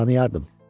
Onu tanıyardım.